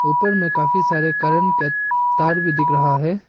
ऊपर में काफी सारे करंट का तार भी दिख रहा है।